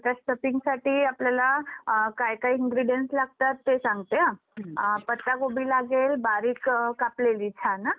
तर stuffingसाठी आपल्याला काय काय ingredients लागतात? तर ते सांगते हा पत्ता गोभी लागेल बारीक कापलेली छान ह.